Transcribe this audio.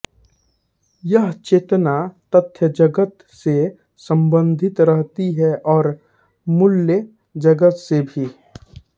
यह चेतना तथ्यजगत से सम्बन्धित रहती है औऱ मूल्यजगत से भी